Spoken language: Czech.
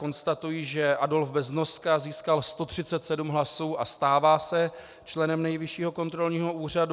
Konstatuji, že Adolf Beznoska získal 137 hlasů a stává se členem Nejvyššího kontrolního úřadu.